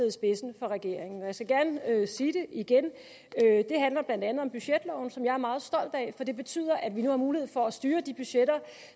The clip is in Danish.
i spidsen for regeringen jeg skal gerne sige det igen det handler blandt andet om budgetloven som jeg er meget stolt af for det betyder at vi nu har mulighed for at styre de budgetter